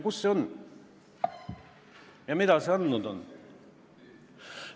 Kus see on ja mida see andnud on?